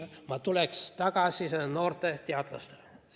Ma tulen tagasi noorte teadlaste juurde.